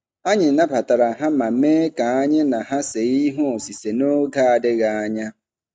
Anyị nabatara ha ma mee ka anyị na ha see ihe osise n'oge adịghị anya.